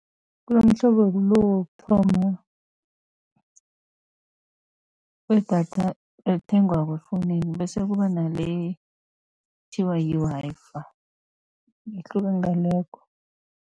Kunomhlobo lo wokuthoma wedatha elithengwako efowunini, bese kuba nale ekuthiwa yi-Wi-Fi ihluka ngalokho.